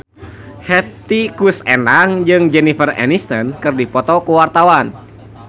Hetty Koes Endang jeung Jennifer Aniston keur dipoto ku wartawan